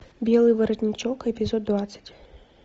белый воротничок эпизод двадцать